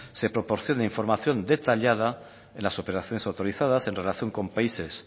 se proporcione información detallada en las operaciones autorizadas en relación con países